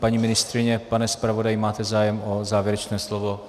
Paní ministryně, pane zpravodaji, máte zájem o závěrečné slovo?